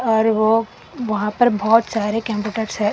पर ओ वहां पर बहोत सारे कंप्यूटर्स है --